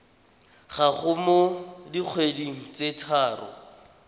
gago mo dikgweding tse tharo